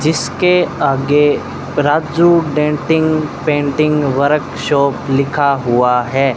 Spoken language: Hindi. जिसके आगे राजू डेंटिंग पेंटिंग वर्कशॉप लिखा हुआ है।